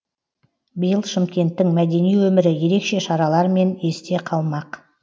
биыл шымкенттің мәдени өмірі ерекше шаралармен есте қалмақ